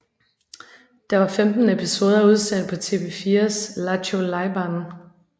Der var 15 episoder udsendt på TV4s Lattjo Lajban